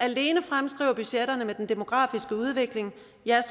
alene fremskriver budgetterne i den demografiske udvikling